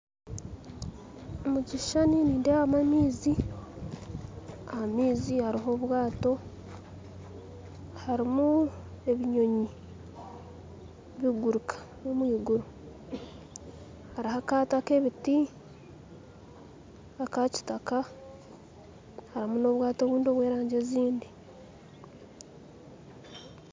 Mu kishushani nindeebamu amaizi aha maizi hariho obwato harimu ebinyonyi biguruka omwiguru hariho akato ak'ebiti akakitaka harimu n'obwato obundi obw'erangyi ezindi